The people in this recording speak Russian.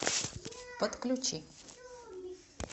подключи